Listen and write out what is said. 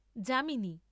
যা।